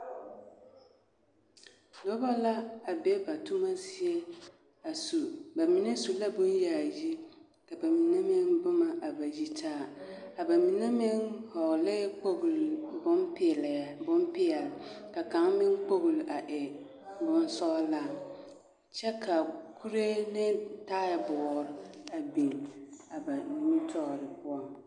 Noba la a be ba toma zie a su ba mine su la bon yaayi ka ba mine boma a ba yi taa aba mine meŋ vɔle la kpoŋle bonpɛle ka kang meŋ kpoŋle e bonsɔŋlaa kyɛ ka kuure ane taaboore a biŋ ba nimitɔɔreŋ.